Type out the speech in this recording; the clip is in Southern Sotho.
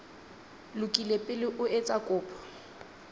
lokile pele o etsa kopo